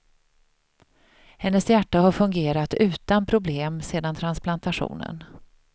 Hennes hjärta har fungerat utan problem sedan transplantationen.